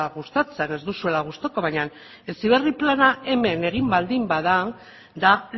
gustatzen ez duzuela gustuko baina heziberri plana hemen egin baldin bada da